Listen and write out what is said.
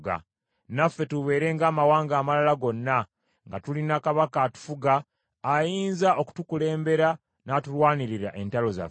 naffe tubeere ng’amawanga amalala gonna, nga tulina kabaka atufuga ayinza okutukulembera n’atulwanira entalo zaffe.”